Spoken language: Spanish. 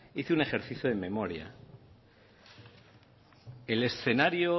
hice un ejercicio de memoria el escenario